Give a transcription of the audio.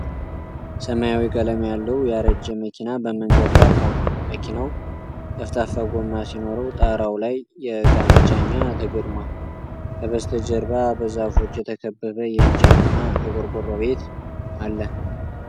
ሰማያዊ ቀለም ያለው፣ ያረጀ መኪና በመንገድ ዳር ቆሟል። መኪናው ጠፍጣፋ ጎማ ሲኖረው፣ ጣራው ላይ የዕቃ መጫኛ ተገጥሟል። ከበስተጀርባ በዛፎች የተከበበ የእንጨትና የቆርቆሮ ቤት አለ።